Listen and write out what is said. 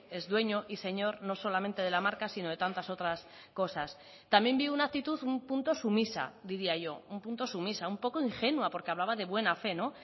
es dueño y señor no solamente de la marca sino de tantas otras cosas también vi una actitud un punto sumisa diría yo un punto sumisa un poco ingenua porque hablaba de buena fe no